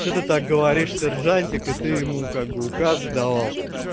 что ты так говоришь сержантик и ты ему как бы указ давал